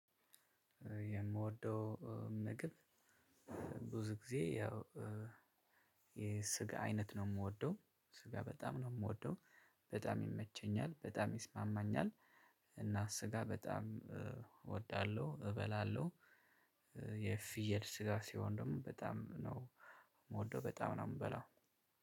የምወደው ምግብ ብዙ ጊዜ ያው የስጋ አይነት ነው የምወደው። ስጋ በጣም ነው የምወደው በጣም ይመቸኛል በጣም ይስማማኛል። እና ስጋ በጣም እወዳለሁ እበላለሁ። የፍየል ስጋ ሲሆን ደግሞ በጣም ነው የምወደው በጣም ነው። የምበላው